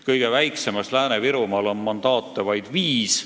Kõige väiksemas ringkonnas Lääne-Virumaal on mandaate vaid viis.